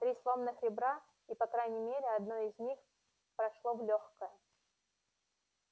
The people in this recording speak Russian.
три сломанных ребра и по крайней мере одно из них прошло в лёгкое